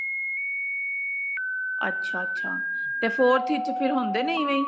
ਅੱਛਾ ਅੱਛਾ ਤੇ forth ਵਿੱਚ ਫਿਰ ਹੁੰਦੇ ਨੇ ਇਵੇਂ ਹੀ